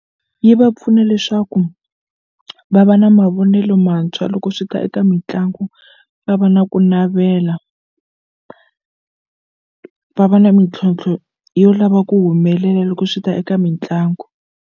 Yi va pfuna leswaku va va na mavonelo mantshwa loko swi ta eka mitlangu va va na ku navela va va na mintlhontlho yo lava ku humelela loko swi ta eka mitlangu.